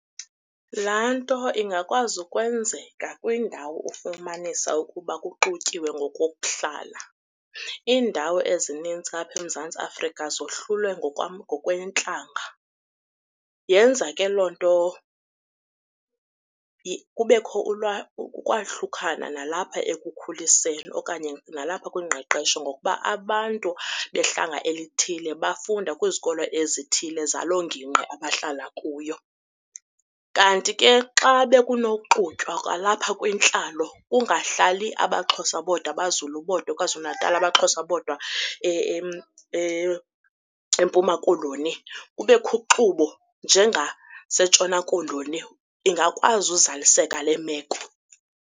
Laa nto ingakwazi ukwenzeka kwindawo ofumanisa ukuba kuxutyiwe ngokokuhlala. Iindawo ezininzi apha eMzantsi Afrika zohlulwe ngokweentlanga. Yenza ke loo nto kubekho ukwahlukana nalapha ekukhuliseni okanye nalapha kwingqeqesho ngokuba abantu behlanga elithile bafunda kwizikolo ezithile zalo ngingqi abahlala kuyo. Kanti ke xa bekunoxutywa kwalapha kwintlalo kungahlali abaXhosa bodwa, abaZulu bodwa, KwaZulu-Natal, abaXhosa bodwa eMpuma Koloni kubekho uxubo njengaseNtshona Koloni ingakwazi uzaliseka le meko.